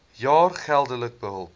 jaar geldelike hulp